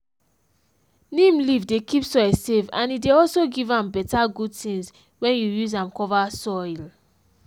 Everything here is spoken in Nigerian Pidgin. neem leaf dey keep soil safe and e dey also give am better good things when you use am cover soill